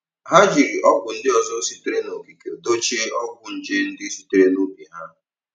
Ha jiri ọgwụ ndị ọzọ sitere n'okike dochie ọgwụ nje ndị sitere n'ubi ha.